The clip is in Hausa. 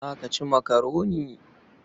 Za ka ci makaroni?